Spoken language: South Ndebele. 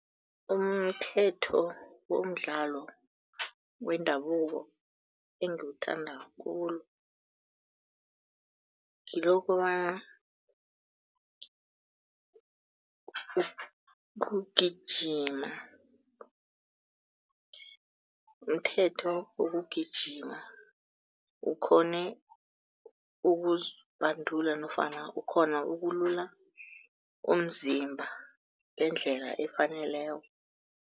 Umthetho womdlalo wendabuko engiwuthanda khulu, ngilo kobana kugijima mthetho wokugijima ukghone ukuzibandula nofana ukghona ukulula umzimba ngendlela efaneleko.